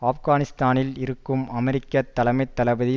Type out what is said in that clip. ஆப்கானிஸ்தானில் இருக்கும் அமெரிக்க தலைமை தளபதி